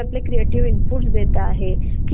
after delivery joint होतात